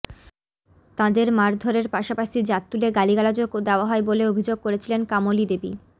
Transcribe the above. তাঁদের মারধরের পাশাপাশি জাত তুলে গালিগালাজও দেওয়া হয় বলে অভিযোগ করেছিলেন কামলীদেবী